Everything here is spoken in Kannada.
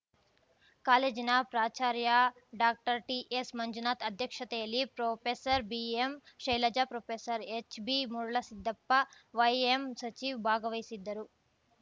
ಕಾಲೇಜಿನ ಪ್ರಾಚಾರ್ಯ ಡಾಕ್ಟರ್ ಟಿಎಸ್‌ ಮಂಜುನಾಥ್ ಅಧ್ಯಕ್ಷತೆಯಲ್ಲಿ professor BM Shailaja professor HB Muralasiddappa YM Sachiv ಭಾಗವಹಿಸಿದ್ದರು